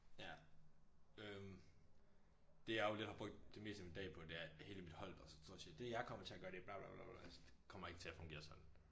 Ja øhm. Det jeg jo lidt har brugt det meste af min dag på det er at hele mit hold der sådan står og siger det jeg kommer til at gøre det bla bla bla altså det kommer ikke til at fungere sådan